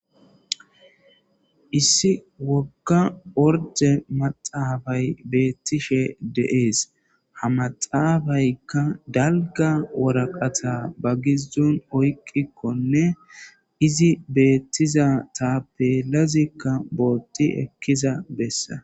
Issi wogga orde maxaafay beettishe deees ha maxaafaykka dalga woraqata ba gizzon oyqikkonne izi beettiza taapelazikka bootti ekkiza bessa